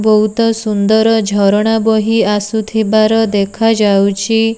ବହୁତ ସୁନ୍ଦର ଝରଣା ବହି ଆସୁଥିବାର ଦେଖାଯାଉଛି।